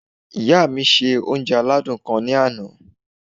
Ìyá mi se oúnje aládùn kan ní ana